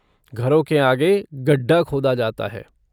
घरों के आगे गड्ढा खोदा जाता है।